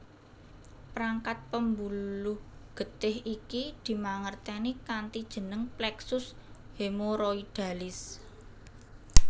Prangkat pembuluh getih iki dimangerteni kanthi jeneng pleksus hemoroidalis